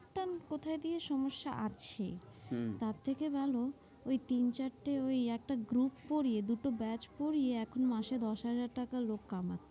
কোথায় দিয়ে সমস্যা আছে, তার থেকে ভালো ঐ তিন চারটে ওই একটা group পরিয়ে দুটো batch পরিয়ে এখন মাসে দশ হাজার টাকা লোক কামাচ্ছে,